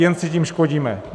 Jen si tím škodíme.